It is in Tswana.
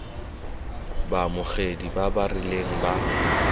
baamogedi ba ba rileng ba